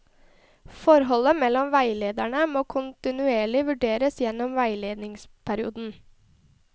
Forholdet mellom veilederne må kontinuerlig vurderes gjennom veiledningsperioden.